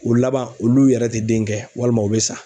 O laban olu yɛrɛ tɛ den kɛ walima u bɛ sa.